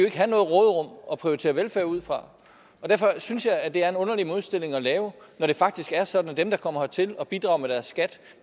ikke have noget råderum at prioritere velfærd ud fra derfor synes jeg at det er en modstilling at lave når det faktisk er sådan at dem der kommer hertil og bidrager med deres skat